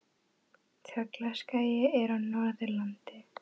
Tröllaskagi er á Norðurlandi.